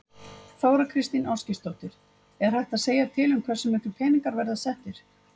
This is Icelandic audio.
Þóra Kristín Ásgeirsdóttir: Er hægt að segja til um hversu miklir peningar verða settir?